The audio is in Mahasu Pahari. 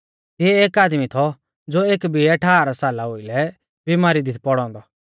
तिऐ एक आदमी थौ ज़ो एक बिऐ ठाहरा साला ओउलै बिमारी दी थौ पौड़ौ औन्दौ